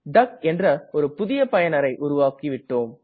டக் என்ற ஒரு புதிய பயனரை உருவாக்கிவிட்டோம்